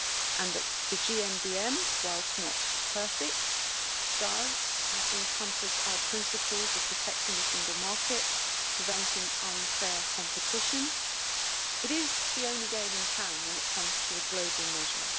and that the GMBM, whilst not perfect, does encompass our principles of protecting the single market and preventing unfair competition. It is the only game in town when it comes to a global measure.